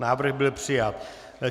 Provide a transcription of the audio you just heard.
Návrh byl přijat.